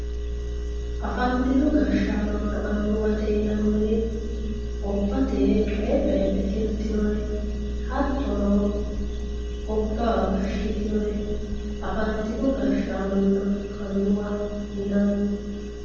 Afantino gashaanona anuwate yinaniri gobbate coyi coyidhe tirtinore hattono gobba gashitinore afantino gashaanonna anuwwa yinani.